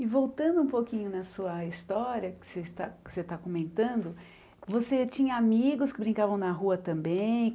E voltando um pouquinho na sua história que você está que você está comentando, você tinha amigos que brincavam na rua também?